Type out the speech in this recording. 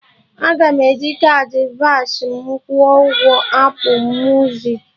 Aga m eji kaadị Verve m kwụọ ụgwọ Apụ muzik